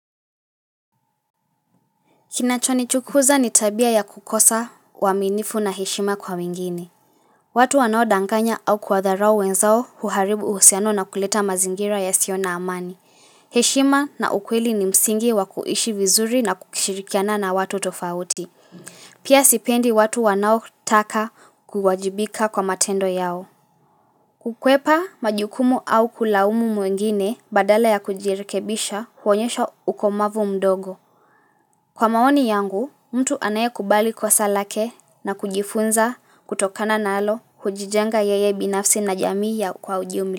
Kinachonichukuza ni tabia ya kukosa waminifu na heshima kwa wengine. Watu wanao danganya au kuwatharao wenzao huharibu husiano na kuleta mazingira yasiona amani. Heshima na ukweli ni msingi wa kuishi vizuri na kukishirikiana na watu tofauti. Pia sipendi watu wanao taka kuwajibika kwa matendo yao. Kukwepa majukumu au kulawumu mwingine badala ya kujirikebisha huonyesha ukomavu mdogo. Kwa maoni yangu, mtu anaye kubali kosa lake na kujifunza kutokana na alo hujijenga yeye binafsi na jamii ya kwa ujiumla.